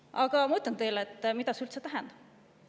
Aga ma ütlen teile, mida üldse tähendab.